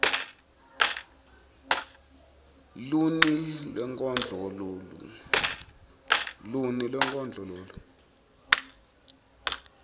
luni lwenkondlo lolu